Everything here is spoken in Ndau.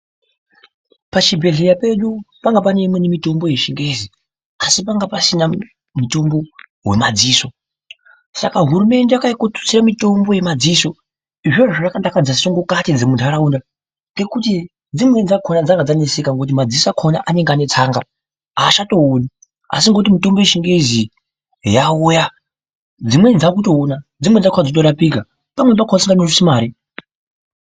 Pachibhedhlera pedu panga pane imweni mitombo yechingezi asi panga pasina mutombo wemadziso saka hurumende yakauye kotutsira mitombo yemadziso izvozvo zvakadakadza sungukati dzemunharaunda ngekuti dzimweni dzakona dzanga dzaneseka ngekuti madziso akona anenge ane tsanga achaatooni asi ngekuti mitombo yechingezi yauya dzimweni dzakutoona dzimweni dzakona dzotorapika pamweni pakona dxisingatodusi mare.